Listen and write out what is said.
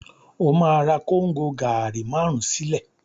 Ó ma ra Kóngò gàárì márùn-ún sí ilé